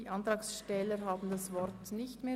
Die Antragsteller wünschen das Wort nicht mehr.